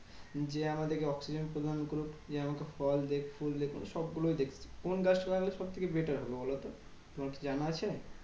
যে আমাদেরকে oxygen প্রদান করুক। যে আমাকে ফল দিক ফুল দিক মানে সবগুলোই দিক। কোন গাছটা লাগালে সবথেকে better হবে বোলোত? তোমার কি জানা আছে?